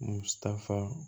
Musaka